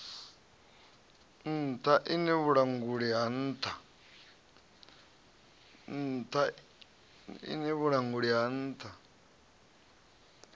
nṱha iṋe vhulanguli ha nṱha